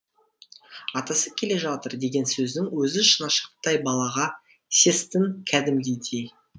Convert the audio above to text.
атасы келе жатыр деген сөздің өзі шынашақтай балаға сес тін кәдімгідей